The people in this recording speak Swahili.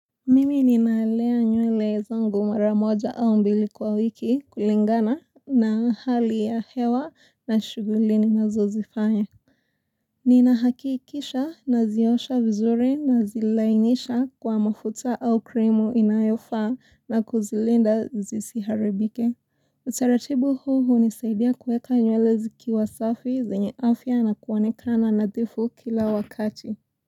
Mimi ninalea nywele zangu mara moja au mbili kwa wiki kulingana na hali ya hewa na shughuli ninazozifanya. Ninahakikisha naziosha vizuri nazilainisha kwa mafuta au cream inayofaa na kuzilinda zisiharibike. Utaratibu huu hunisaidia kuweka nywele zikiwa safi zenye afya na kuonekana nadhifu kila wakati.